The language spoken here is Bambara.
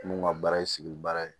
Mun ka baara ye sigi baara ye